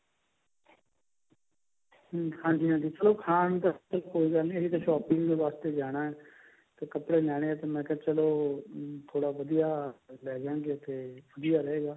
ਹਾਂਜੀ ਹਾਂਜੀ ਚਲੋ ਖਾਣ ਵਾਸਤੇ ਕੋਈ ਗੱਲ ਨਹੀਂ ਅਸੀਂ ਤਾਂ shopping ਵਾਸਤੇ ਜਾਣਾ ਤੇ ਕੱਪੜੇ ਲੈਨੇ ਹੈ ਤੇ ਮੈਂ ਕਿਹਾ ਚੱਲੋ ਥੋੜਾ ਵਧੀਆ ਲੈ ਜਾਂਗੇ ਤਾਂ ਥੋੜਾ ਵਧੀਆ ਰਹੇਗਾ